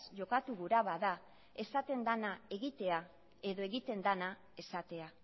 jokatu gura bada esaten dena egitea edo egiten dena esatea